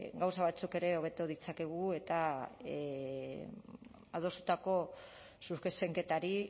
gauza batzuk ere hobeto ditzakegu eta adostutako zuzenketari